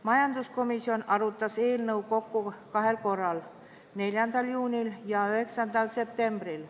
Majanduskomisjon arutas eelnõu kokku kahel korral: 4. juunil ja 9. septembril.